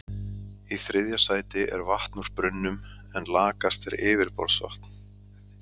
Í þriðja sæti er vatn úr brunnum en lakast er yfirborðsvatn.